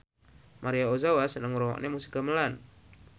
Maria Ozawa seneng ngrungokne musik gamelan